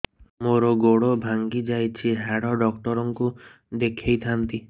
ମୋର ଗୋଡ ଭାଙ୍ଗି ଯାଇଛି ହାଡ ଡକ୍ଟର ଙ୍କୁ ଦେଖେଇ ଥାନ୍ତି